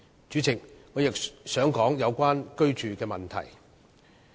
主席，我亦想提出有關居住的問題。